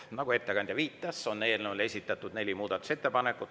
Nagu ettekandja viitas, on eelnõule esitatud neli muudatusettepanekut.